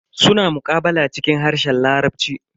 Suna muqabala cikin harshen larabci.